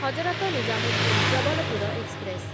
Hazrat Nizamuddin Jabalpur express